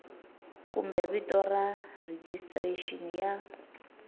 kumbe vito ra rejistrexini ya